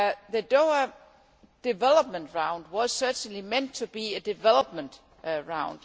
The Doha Development Round was certainly meant to be a development round.